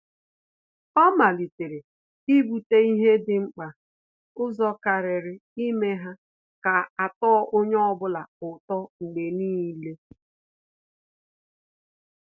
Ọ́ màlị́tèrè íbùtè ihe dị̀ mkpa ụzọ kàrị́rị́ ímé ihe gà-àtọ́ onye ọ bụla ụ́tọ́ mgbe nìile.